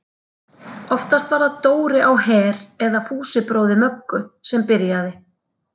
Oftast var það Dóri á Her eða Fúsi bróðir Möggu sem byrjaði.